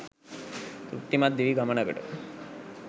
තෘප්තිමත් දිවි ගමනකට